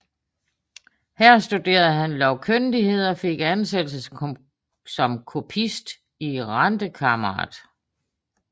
Her studerede han lovkyndighed og fik ansættelse som kopist i Rentekammeret